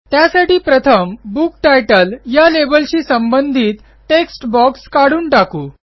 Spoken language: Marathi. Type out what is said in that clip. त्यासाठी प्रथम बुक तितले या लेबलशी संबंधित टेक्स्ट बॉक्स काढून टाकू